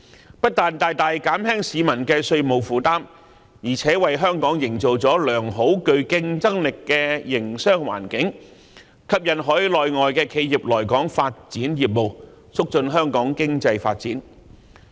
這不但大大減輕了市民的稅務負擔，而且為香港營造了良好和具競爭力的營商環境，吸引海內外的企業來港發展業務，促進香港的經濟發展。